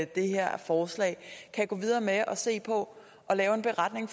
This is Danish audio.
det her forslag kan gå videre med at se på at lave en beretning